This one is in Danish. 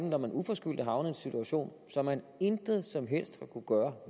når man uforskyldt havner i en situation som man intet som helst har kunnet gøre